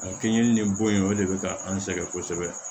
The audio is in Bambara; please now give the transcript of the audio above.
Keninge nin bɔ in o de bɛ ka an sɛgɛn kosɛbɛ